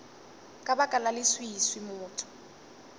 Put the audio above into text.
ka baka la leswiswi motho